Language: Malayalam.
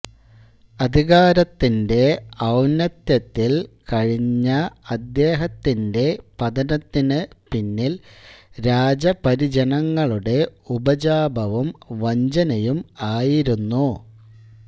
അധികാരത്തിന്റെ ഔന്നത്ത്യത്തിൽ കഴിഞ്ഞ അദ്ദേഹത്തിന്റെ പതനത്തിനു പിന്നിൽ രാജപരിജനങ്ങളുടെ ഉപജാപവും വഞ്ചനയും ആയിരുന്നു